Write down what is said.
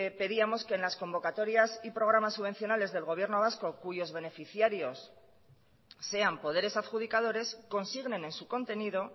pedíamos que en las convocatorias y programas subvencionales del gobierno vasco cuyos beneficiarios sean poderes adjudicadores consignen en su contenido